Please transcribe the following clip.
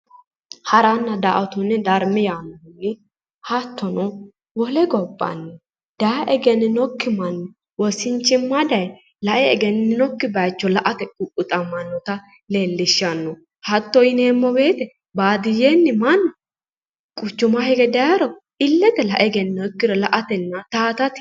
Haranna, daa"attonna darama hattono wole gobbanni daaye egeninikki manni wosinimma daaye lae egeninokki bayicho la"ate ququxamanotta leelishshano hatto yinneemmo woyte baadiyyenni mannu quchuma higge daayiro ilete lae egeninokkiricho la"atenna towaattate.